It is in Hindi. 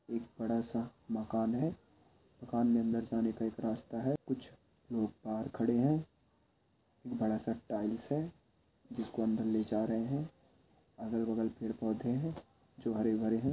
एक बड़ा-सा मकान है मकान के अंदर जाने का एक रास्ता है कुछ लोग बाहर खड़े है बड़ा-सा टाइल्स है जिसको अंदर ले जा रहे है अगल-बग़ल पेड़-पौधे है जो हरे-भरे है।